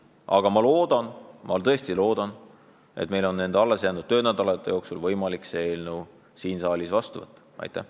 Aga ma väga loodan, et meil on alles jäänud töönädalate jooksul võimalik see eelnõu siin saalis seadusena vastu võtta.